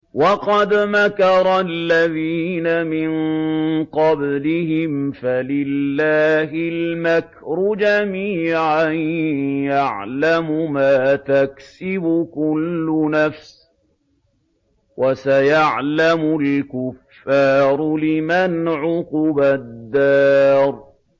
وَقَدْ مَكَرَ الَّذِينَ مِن قَبْلِهِمْ فَلِلَّهِ الْمَكْرُ جَمِيعًا ۖ يَعْلَمُ مَا تَكْسِبُ كُلُّ نَفْسٍ ۗ وَسَيَعْلَمُ الْكُفَّارُ لِمَنْ عُقْبَى الدَّارِ